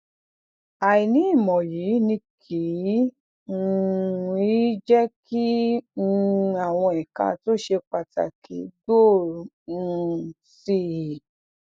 àìní ìmò yìí ni kì um í jé kí um àwọn èka tó ṣe pàtàkì gbòòrò um sí i